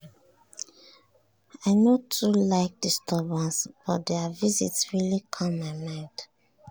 i no too like disturbance but their visit really calm my mind.